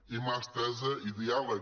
i mà estesa i diàleg